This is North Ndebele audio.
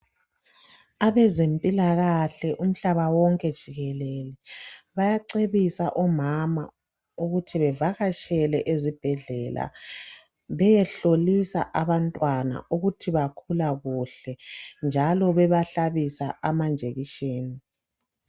Abezempilakahle umhlaba wonke jikelele bayacebisa omama ukuthi bevakatshele ezibhedlela beyehlolisa abantwana ukuthi bakhula kuhle njalo bebahlabisa amajekisheni.